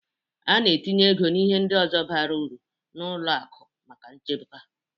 A na-etinye ego na ihe ndị ọzọ bara ụrụ na ụlọ akụ maka nchekwa.